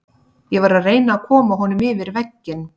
Ég var að reyna að koma honum yfir vegginn.